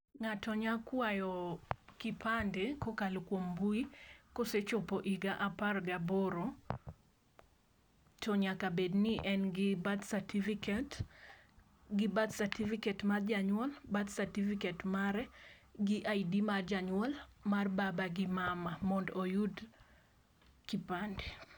Ngato nya kwayo kipande kokalo kuom mbui kosechopo higa apar ga aboro to nyaka bedni en gi birth certificate, gi birth certificate mar janyuol, birth certificate mare gi ID mar janyuol, mar baba gi mama mondo oyud kipande